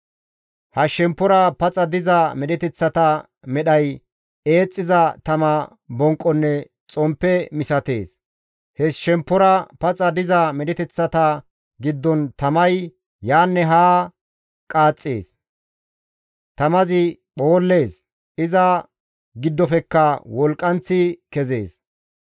Ha shemppora paxa diza medheteththata medhay eexxiza tama bonqonne xomppe misatees; he shemppora paxa diza medheteththata giddon tamay yaanne haa qaaxxees; tamazi phoollees; iza giddofekka wolqqanththi kezees.